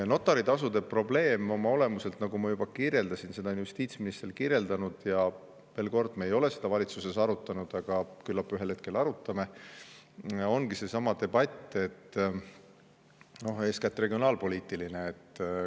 Notaritasude probleem oma olemuselt, nagu ma juba kirjeldasin ja seda on ka justiitsminister kirjeldanud – me ei ole seda valitsuses arutanud, aga küllap ühel hetkel arutame –, ongi seesama debatt, eeskätt regionaalpoliitiline.